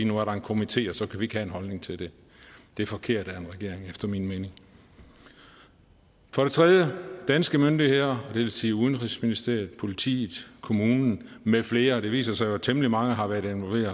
nu er der en komité og så kan en holdning til det det er forkert af en regering efter min mening for det tredje må danske myndigheder det vil sige udenrigsministeriet politiet kommunen med flere det viser sig jo at temmelig mange har været